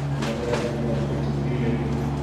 machei areek kigochi beek che tililen